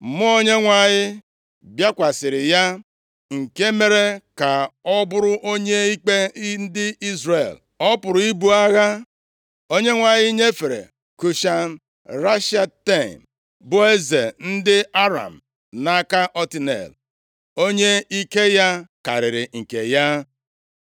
Mmụọ Onyenwe anyị bịakwasịrị ya, nke mere ka ọ bụrụ onye ikpe ndị Izrel, ọ pụrụ ibu agha. Onyenwe anyị nyefere Kushan Rishataim bụ eze ndị Aram nʼaka Otniel, onye ike ya karịrị nke ya.